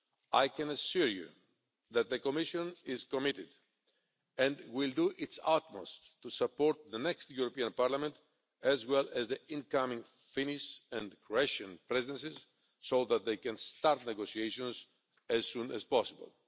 I can assure you that the Commission is committed and will do its utmost to support the next European Parliament as well as the incoming Finnish and Croatian Presidencies, so that they can start negotiations as soon as possible.